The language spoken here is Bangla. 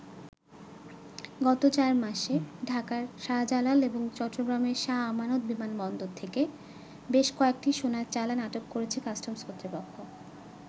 গত চার মাসে ঢাকার শাহজালাল ও চট্টগ্রামের শাহ আমানত বিমানবন্দর থেকে বেশ কয়েকটি ‘সোনার চালান’ আটক করেছে কাস্টমস কর্তৃপক্ষ।